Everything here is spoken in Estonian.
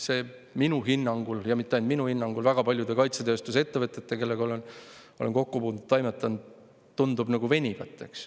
See minu hinnangul – ja mitte ainult minu hinnangul, vaid väga paljude nende kaitsetööstusettevõtete hinnangul, kellega ma olen kokku puutunud – tundub nagu venivat.